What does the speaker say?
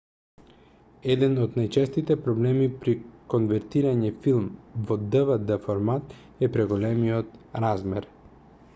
еден од најчестите проблеми при конвертирање филм во dvd-формат е преголемиот размер